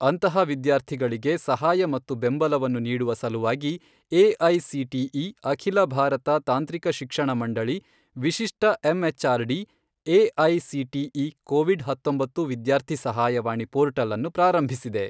ಅಂತಹ ವಿದ್ಯಾರ್ಥಿಗಳಿಗೆ ಸಹಾಯ ಮತ್ತು ಬೆಂಬಲವನ್ನು ನೀಡುವ ಸಲುವಾಗಿ, ಎಐಸಿಟಿಇ ಅಖಿಲ ಭಾರತ ತಾಂತ್ರಿಕ ಶಿಕ್ಷಣ ಮಂಡಳಿ ವಿಶಿಷ್ಟ ಎಂಎಚ್ಆರ್ಡಿ ಎಐಸಿಟಿಇ ಕೋವಿಡ್ ಹತ್ತೊಂಬತ್ತು ವಿದ್ಯಾರ್ಥಿ ಸಹಾಯವಾಣಿ ಪೋರ್ಟಲ್ ಅನ್ನು ಪ್ರಾರಂಭಿಸಿದೆ.